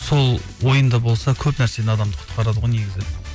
сол ойында болса көп нәрседе адамды құтқарады ғой негізі